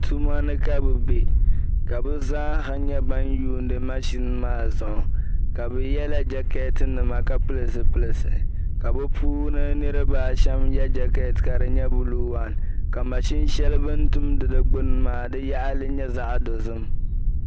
tumanika bɛ be ka bɛ zaaha nyɛ ban yuuni maʒini maa zuɣu ka bɛ yɛla jakeetinima ka pill zipilti ka bɛ puuni niriba ashɛm yɛ jakeetinima ka di nyɛ buluu waan ka mashini Shɛli bɛ ni tumdi di gbuni maa ka di yaɣili nyɛ zaɣ dɔzim